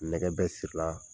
Nɛgɛ bɛɛ sira la.